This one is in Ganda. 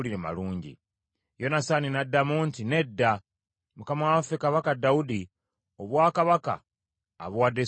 Yonasaani n’addamu nti, “Nedda. Mukama waffe Kabaka Dawudi, obwakabaka abuwadde Sulemaani,